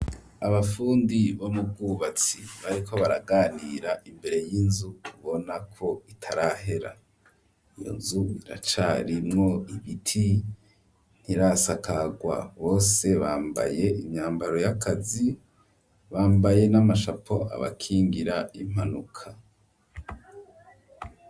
Abafundi bo mu bwubatsi bariko baraganira imbere y'inzu ubona ko itarahera iyo nzu iracarimwo ibiti ntirasakarwa bose bambaye imyambaro y'akazi bambaye n'amashapo abakingira impanuka.